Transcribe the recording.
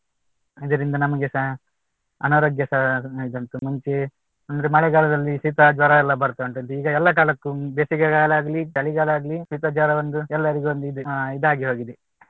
ಇದರಿಂದ ನಮಗೆಸ ಅನಾರೋಗ್ಯಸ ಇದುಂಟು ಮುಂಚೆ ಅಂದ್ರೆ ಮಳೆಗಾಲದಲ್ಲಿ ಶೀತ ಜ್ವರ ಎಲ್ಲ ಬರ್ತಾ ಉಂಟಂತೆ ಈಗ ಎಲ್ಲಾ ಕಾಲಕ್ಕೂ ಬೇಸಿಗೆ ಕಾಲ ಆಗ್ಲಿ ಚಳಿಗಾಲ ಆಗ್ಲಿ ಶೀತ ಜ್ವರ ಒಂದು ಎಲ್ಲರಿಗೂ ಒಂದು ಇದಾಗಿ ಹೋಗಿದೆ